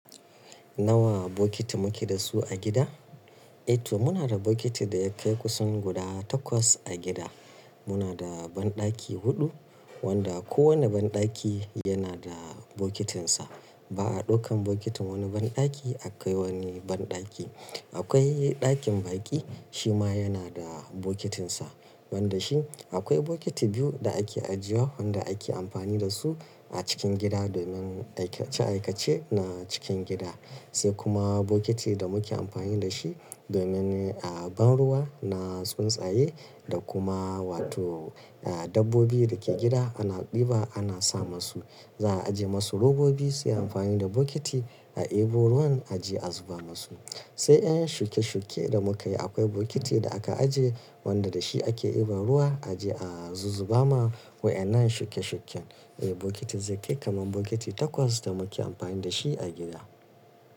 Nawa bokiti muke da su a gida? Eh to muna da bokitin da ya kai kusan guda takwas a gida. Muna da banɗaki huɗu wanda kowane banɗaki yana da bokitinsa. Ba a ɗaukan bokitin wani banɗaki a kai wani banɗaki. Akwai ɗakin baƙi shi ma yana da bokitinsa. Wanda shi akwai bokiti biyu da ake ajiye wa wanda ake amfani da su a cikin gida domin aikace aikace na cikin gida. Sai kuma bokiti da muke amfani da shi domin a ban ruwa na tsuntsaye da kuma wato dabbobi da ke gida ana ɗiba ana sa masu. Za a ajiye masu robobi su yi amfani da bokiti a eba ruwan a je a zuba masu. Sai ƴan shuke-shuke da muka yi akwai bokiti da aka ajiye wanda da shi ake eba ruwa a je a zuba ma waƴannan shuke-shuken. Eh bokiti zai kai kaman bokiti takwas da muke amfani da shi a gida.